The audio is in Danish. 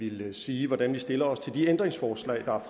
ville sige hvordan vi stiller os til de ændringsforslag der er